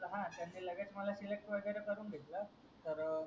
त्यानी लगेच मला सिलेक्ट वगैरे करून घेतला तर